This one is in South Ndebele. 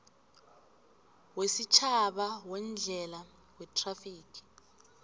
wesitjhaba weendlela wethrafigi